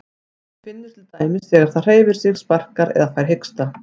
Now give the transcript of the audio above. Hún finnur til dæmis þegar það hreyfir sig, sparkar eða fær hiksta.